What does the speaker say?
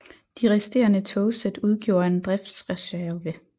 De resterende togsæt udgjorde en driftsreserve